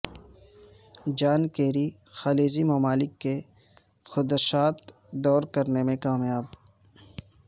جان Kerry خلیجی ممالک کے خدشات دور کرنے میں کامیاب